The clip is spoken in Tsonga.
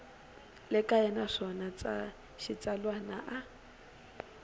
le kaya naswona xitsalwana a